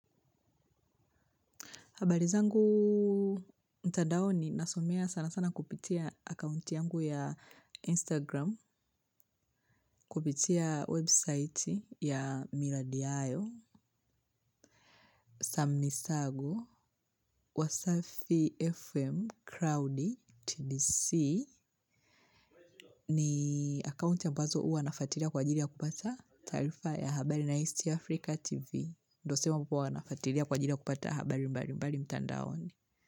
Habari zangu mtandaoni nasomea sana sana kupitia akaunti yangu ya Instagram, kupitia website ya Miradi Hayo, Samisago, Wasafi FM, Crowdy, TBC, ni akaunti ambazo huwa nafuatilia kwa ajili ya kupata taarifa ya habari na East Africa TV. Ndio si huku huwa nafuatilia kwa ajili ya kupata habari mbalimbali mtandaoni.